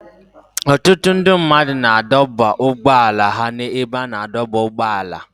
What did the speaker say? Ọtụtụ ndị mmadụ na-adọba ụgbọala ha n'ebe a na-adọba ụgbọala.